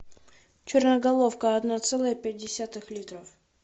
черноголовка одна целая пять десятых литров